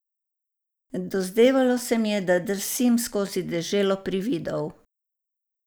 Dozdevalo se mi je, da drsim skozi deželo prividov.